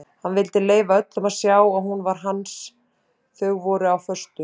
Hann vildi leyfa öllum að sjá að hún var hans þau voru á föstu.